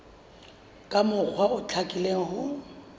ka mokgwa o hlakileng ho